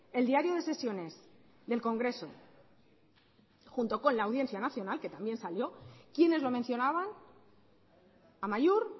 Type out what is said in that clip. el diario de sesiones del congreso junto con la audiencia nacional que también salió quiénes lo mencionaban amaiur